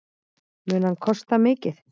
Mun hann kosta mikið?